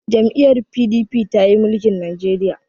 jam'iyyar P.D.P ta yi mulikin Najeriya